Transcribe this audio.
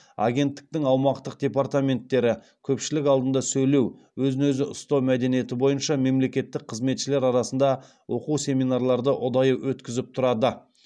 агенттіктің аумақтық департаменттері көпшілік алдында сөйлеу өзін өзі ұстау мәдениеті бойынша мемлекеттік қызметшілер арасында оқу семинарларды ұдайы өткізіп тұрады